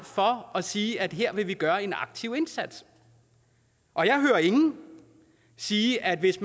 for at sige at her vil man gøre en aktiv indsats og jeg hører ingen sige at hvis